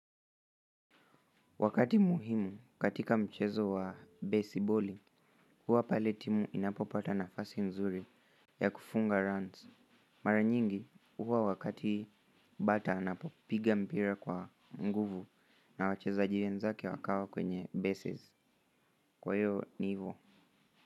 Wakati muhimu katika michezo wa base ball, huwa pale timu inapopata nafasi nzuri ya kufunga runs. Mara nyingi huwa wakati bata anapopiga mpira kwa nguvu na wachezaji wenzake wakawa kwenye bases. Kwa hiyo ni hivo.